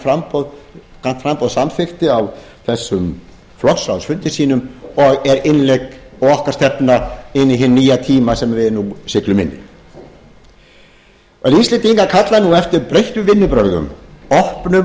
grænt framboð samþykkti á þessum flokksráðsfundi sínum og er innlegg og okkar stefna inn í hinn nýja tíma sem við nú siglum inn í íslendingar kalla nú eftir breyttum vinnubrögðum opnum